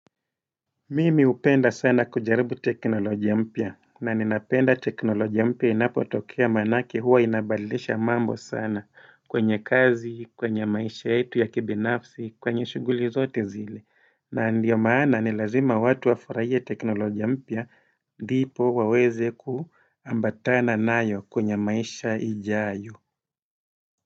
Mimi hupenda sana kujaribu teknolojia mpya, na ninapenda teknolojia mpya inapo tokea manake huwa inabadilisha mambo sana kwenye kazi, kwenye maisha yetu ya kibinafsi, kwenye shughuli zote zile. Na ndiyo maana ni lazima watu wafurahie teknolojia mpya ndipo waweze kuambatana nayo kwenye maisha ijayo.